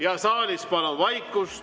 Ja saalis palun vaikust!